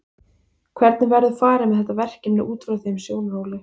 Hvernig verður farið með þetta verkefni út frá þeim sjónarhóli?